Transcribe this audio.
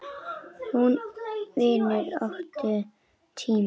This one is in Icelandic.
Hún vinnur sína átta tíma.